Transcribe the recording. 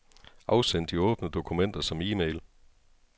Afsend de åbne dokumenter som e-mail.